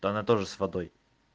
то она тоже с водой